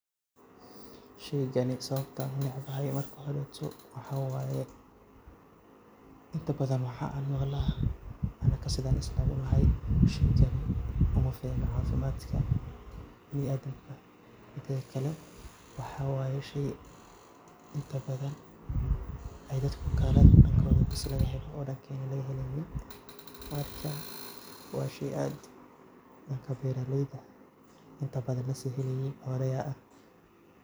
Shey gani sababta aad ledahay marka hore waxa weeye Inta badan waxaan maqalnaa sidaan isku lahayn mashiinka wafdiga caafimaadka biniadam ka midikale waxa waye shey Inta badan. Ay dadku gala a dankoda bes laga helo oo dankayn la ga helin. marka wa shey aad dankaa inta badan laso heleyeyey.